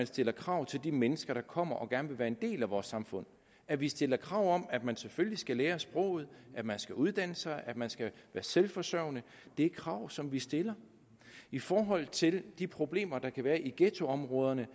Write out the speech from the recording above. stiller krav til de mennesker der kommer og gerne vil være en del af vores samfund at vi stiller krav om at man selvfølgelig skal lære sproget at man skal uddanne sig at man skal være selvforsørgende det er krav som vi stiller i forhold til de problemer der kan være i ghettoområderne